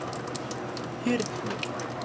Hyrnu